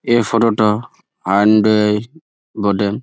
এই ফটো - টা বটে।